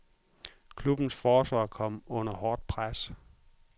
Klubbens forsvar kom under hårdt pres.